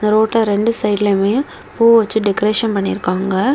அந்த ரோட்ல ரெண்டு சைடு லையுமே பூ வச்சு டெக்ரேசன் பண்ணி இருக்காங்க.